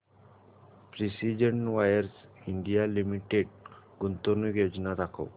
precision wires India limited गुंतवणूक योजना दाखव